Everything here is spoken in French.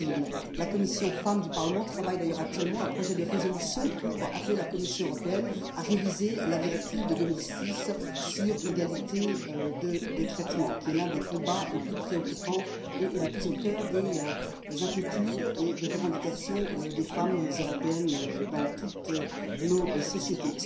La commission des droits de la femme et de l'égalité des genres travaille d'ailleurs actuellement à un projet de résolution pour appeler la Commission européenne à réviser la directive de 2006 sur l'égalité de traitement, qui est l'un des combats les plus préoccupants et les plus au cœur des inquiétudes et des revendications des femmes européennes dans toutes nos sociétés.